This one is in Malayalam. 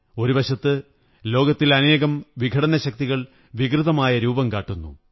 ഒരു വശത്ത് ലോകത്തിൽ അനേകം വിഘടന ശക്തികൾ വികൃതമായ രൂപം കാട്ടുന്നു